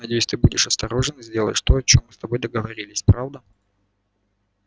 надеюсь ты будешь осторожен и сделаешь то о чем мы с тобой договорились правда